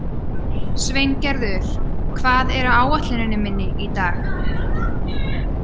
Sveingerður, hvað er á áætluninni minni í dag?